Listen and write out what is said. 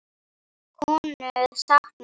Konu saknað